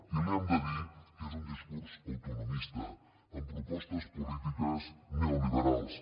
i li hem de dir que és un discurs autonomista amb propostes polítiques neoliberals